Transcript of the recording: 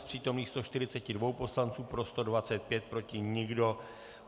Z přítomných 142 poslanců, pro 125, proti nikdo.